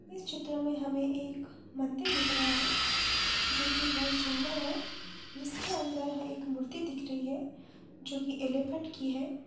इस चित्र में हमे एक मंदिर दिख रहा है जोकि बहोत सुंदर है जिसके अंदर एक मूर्ति दिख रही है जोकि एलीफन्ट की है ।